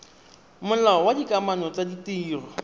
molao wa dikamano tsa ditiro